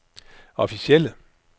officielle